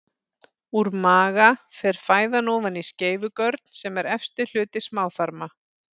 Úr maga fer fæðan ofan í skeifugörn sem er efsti hluti smáþarma.